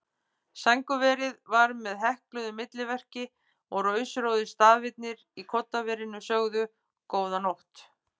Sængurverið var með hekluðu milliverki og rósrauðir stafirnir í koddaverinu sögðu: Góða nótt.